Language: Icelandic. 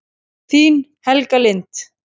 Þín, Helga Lind.